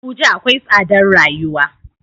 Abuja akwai tsadar rayuwa.